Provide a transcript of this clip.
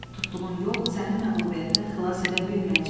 Tutduğun yol səni məğlubiyyətdən xilas edə bilməyəcək.